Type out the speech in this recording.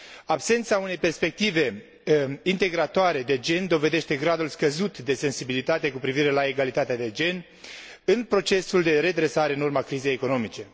Absența unei perspective privind integrarea de gen dovedește gradul scăzut de sensibilitate cu privire la egalitatea de gen în procesul de redresare în urma crizei economice.